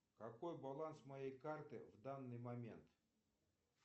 какой баланс моей карты в данный момент